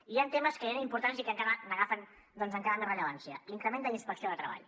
i hi han temes que eren importants i que encara n’agafen més rellevància l’increment de la inspecció de treball